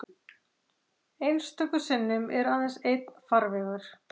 Einstöku sinnum er aðeins einn farvegur.